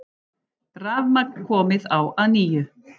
Rafmagn komið á að nýju